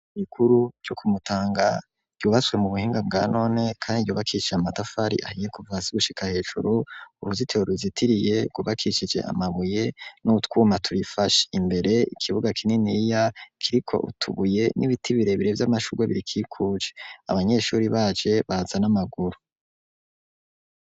Igikuru co ku Mutanga ryubaswe mu buhinga bwa none kandi yubakishije amatafari ahiye kuva hasigushika hejuru uruzitiro ruzitiriye kubakicije amabuye n'utwuma turifashe imbere ikibuga kinini iya kiriko utubuye n'ibiti birebire vy'amashurwe biri kikuje abanyeshuri baje baza n'amaguru.